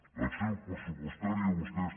l’acció pressupostària vostès